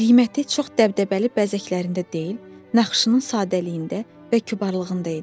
Qiyməti çox dəbdəbəli bəzəklərində deyil, naxışının sadəliyində və kübarlığında idi.